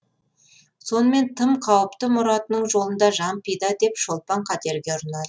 сонымен тым қауіпті мұратының жолында жан пида деп шолпан қатерге ұрынады